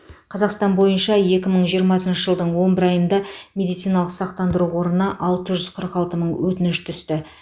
қазақстан бойынша екі мың жиырмасыншы жылдың он бір айында медициналық сақтандыру қорына алты жүз қырық алты мың өтініш түсті